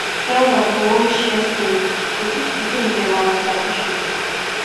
elders go always share story to teach pikin them our tradition